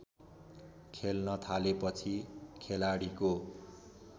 खेल्न थालेपछि खेलाडीको